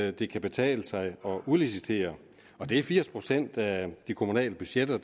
at det kan betale sig at udlicitere og det er firs procent af de kommunale budgetter